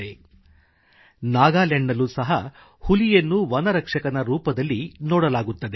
• ನಾಗಾಲ್ಯಾಂಡ್ನಲ್ಲೂ ಸಹ ಹುಲಿಯನ್ನು ವನರಕ್ಷಕನ ರೂಪದಲ್ಲಿ ನೋಡಲಾಗುತ್ತದೆ